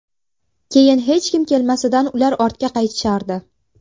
Keyin hech kim kelmasidan ular ortga qaytishardi.